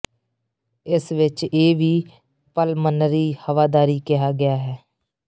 ਇਸ ਵਿਚ ਇਹ ਵੀ ਪਲਮਨਰੀ ਹਵਾਦਾਰੀ ਕਿਹਾ ਗਿਆ ਹੈ